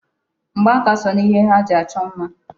Mgba aka so n'ihe ha ji achọ mma.